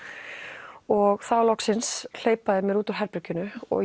og þá loksins hleypa þeir mér út úr herberginu og